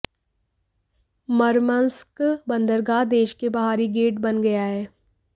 Murmansk बंदरगाह देश के बाहरी गेट बन गया है